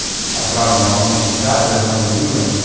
отправлена во многие чаты многим людям